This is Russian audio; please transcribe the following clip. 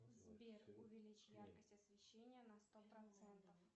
сбер увеличь яркость освещения на сто процентов